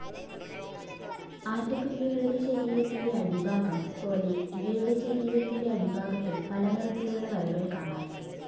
ആറ്റക്കുരുവികളുടെ ശരീരത്തിന്റെ അടിഭാഗം പോലെ ഇവയുടെ ശരീരത്തിന്റെ അടിഭാഗത്തും പല നിറത്തിലുള്ള വരകൾ കാണാം.